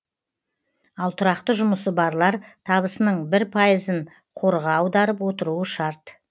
ал тұрақты жұмысы барлар табысының бір пайызын қорға аударып отыруы шарт